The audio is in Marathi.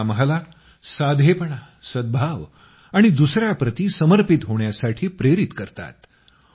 ते आम्हाला साधेपणा सद्भाव आणि दुसयांप्रती समर्पित होण्यासाठी प्रेरित करतात